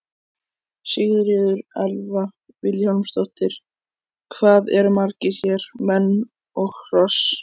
Sigríður Elva Vilhjálmsdóttir: Hvað eru margir hér, menn og hross?